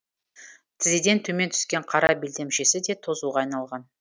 тізеден төмен түскен қара белдемшесі де тозуға айналған